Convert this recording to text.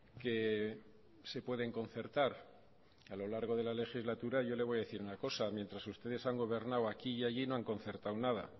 que se pueden concertar a lo largo de la legislatura yo le voy a decir una cosa mientras ustedes han gobernado aquí y allí no han concertado nada